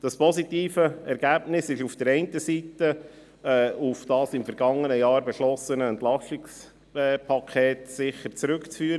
Dieses positive Ergebnis ist auf der einen Seite sicher auf die Massnahmen in Zusammenhang mit dem im vergangenen Jahr beschlossenen EP zurückzuführen.